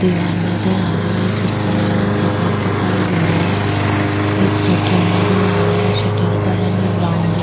दीवार नजर आ रही है जिसका रंग सफ़ेद दिखाई दे रही है एक शटर नजर आ रहा है शटर का रंग ब्राउन दिख --